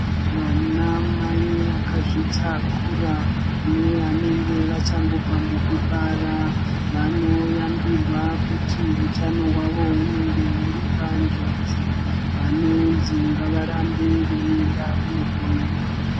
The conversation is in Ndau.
Vanamai vakazvitakura nevanenge vachangobva mukubara vanoyambirwa kuti utano wavo unenge uri panjodzi vanonzi ngavarambe veienda kundohloiwa.